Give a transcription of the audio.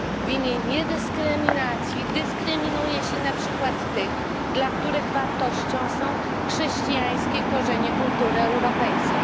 W imię niedyskryminacji dyskryminuje się na przykład tych, dla których wartością są chrześcijańskie korzenie kultury europejskiej.